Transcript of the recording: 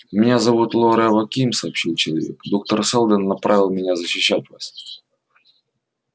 меня зовут лоре аваким сообщил человек доктор сэлдон направил меня защищать вас